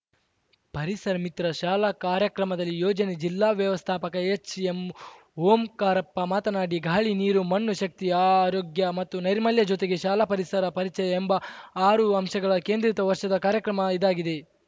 ಪರಿಸರಮಿತ್ರ ಶಾಲಾ ಕಾರ‍್ಯಕ್ರಮದಲ್ಲಿ ಯೋಜನೆ ಜಿಲ್ಲಾ ವ್ಯವಸ್ಥಾಪಕ ಎಚ್‌ಎಂ ಓಂಕಾರಪ್ಪ ಮಾತನಾಡಿ ಗಾಳಿ ನೀರು ಮಣ್ಣು ಶಕ್ತಿ ಆರೋಗ್ಯ ಮತ್ತು ನೈರ್ಮಲ್ಯ ಜೊತೆಗೆ ಶಾಲಾ ಪರಿಸರ ಪರಿಚಯ ಎಂಬ ಆರು ಅಂಶಗಳ ಕೇಂದ್ರಿತ ವರ್ಷದ ಕಾರ್ಯಕ್ರಮ ಇದಾಗಿದೆ